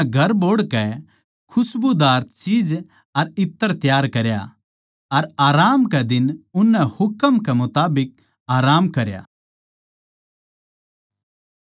फेर उननै घर बोहड़ के खस्बुदार चीज अर इत्र त्यार करया अर आराम कै दिन उननै हुकम के मुताबिक आराम करया